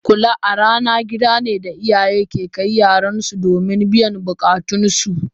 Kula a rana gidane da iyaye ke kai yaransu domin biyan bukatunsu.